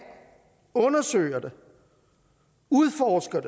undersøger det udforsker